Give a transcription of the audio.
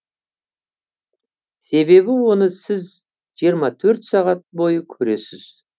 себебі оны сіз жиырма төрт сағат бойы көресіз